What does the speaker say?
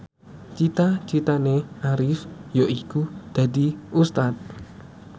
cita citane Arif yaiku dadi Ustad